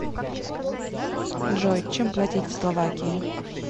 джой чем платить в словакии